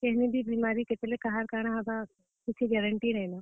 କେଁଜେ କି ଆଏଜ କାଏଲ କେତେବେଲେ କେନ୍ ବେମାରୀ କେତେବେଲେ କାହାର କାଣା ହେବା କିଛି guarantee ନାଇ ନ ।